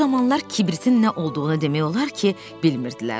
O zamanlar kibritin nə olduğunu demək olar ki, bilmirdilər.